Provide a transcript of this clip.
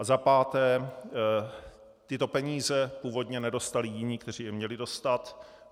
A za páté, tyto peníze původně nedostali jiní, kteří je měli dostat.